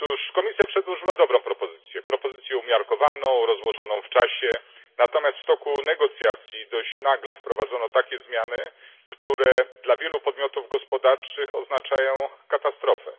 Komisja przedłożyła dobrą propozycję, umiarkowaną, rozłożoną w czasie, natomiast w toku negocjacji dość nagle wprowadzono zmiany, które dla wielu podmiotów gospodarczych oznaczają katastrofę.